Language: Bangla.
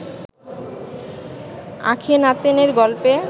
আখেনাতেনের গল্পে